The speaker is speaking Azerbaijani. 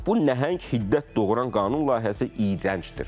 Bu nəhəng hiddət doğuran qanun layihəsi iyrəncdir.